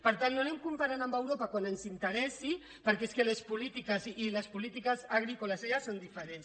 per tant no anem comparant amb europa quan ens interessi per·què és que les polítiques i les polítiques agrícoles allà són diferents